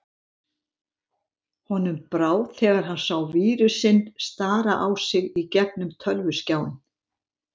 Honum brá þegar hann sá vírusinn stara á sig í gegnum tölvuskjáinn.